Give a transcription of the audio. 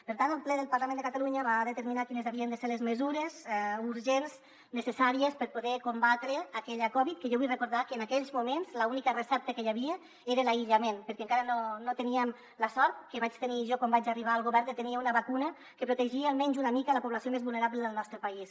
per tant el ple del parlament de catalunya va determinar quines havien de ser les mesures urgents necessàries per poder combatre aquella covid que jo vull recordar que en aquells moments l’única recepta que hi havia era l’aïllament perquè encara no teníem la sort que vaig tenir jo quan vaig arribar al govern de tenir una vacuna que protegia almenys una mica la població més vulnerable del nostre país